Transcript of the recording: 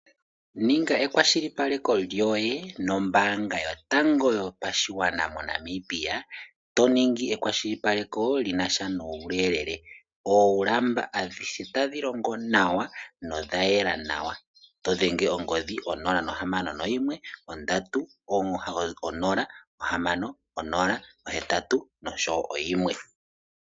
Ninga ekwashilipaleko lyoye nombaanga yotango yopashigwana moNamibia. To ningi ekwashilipaleko li na sha nuuyelele. Oolamba otadhi longo nawa nodha yela nawa to dhenge ongodhi yo061 306081.